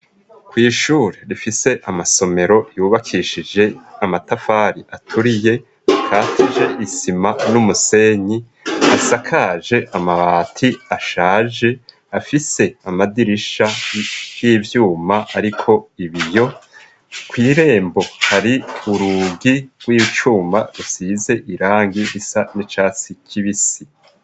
Kwishuri rifise amasomero yubakishije amatafari aturiye ikatije isima n'umusenyi asakaje amabati ashaje afise amadirisha y'ivyuma ariko ibiyo kwirembo hari urugi rw'icuma rusize irangi risa n'icatsi kibisi.